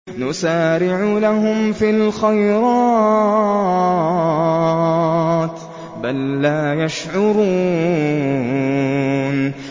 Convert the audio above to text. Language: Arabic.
نُسَارِعُ لَهُمْ فِي الْخَيْرَاتِ ۚ بَل لَّا يَشْعُرُونَ